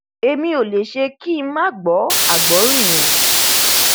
èmi ò lè ṣe kí ng má máa gbọ àgbọrìn o